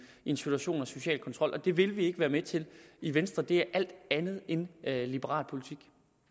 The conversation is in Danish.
en situation med social kontrol det vil vi ikke være med til i venstre det er alt andet end liberal politik